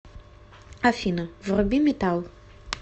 афина вруби метал